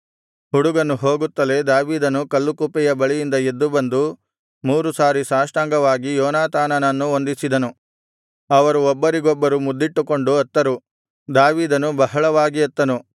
ಹುಡುಗನು ಹೋಗುತ್ತಲೇ ದಾವೀದನು ಕಲ್ಲುಕುಪ್ಪೆಯ ಬಳಿಯಿಂದ ಎದ್ದುಬಂದು ಮೂರು ಸಾರಿ ಸಾಷ್ಟಾಂಗವಾಗಿ ಯೋನಾತಾನನನ್ನು ವಂದಿಸಿದನು ಅವರು ಒಬ್ಬರಿಗೊಬ್ಬರು ಮುದ್ದಿಟ್ಟುಕೊಂಡು ಅತ್ತರು ದಾವೀದನು ಬಹಳವಾಗಿ ಅತ್ತನು